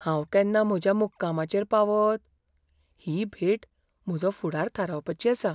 हांव केन्ना म्हज्या मुक्कामाचेर पावत? ही भेट म्हजो फुडार थारावपाची आसा .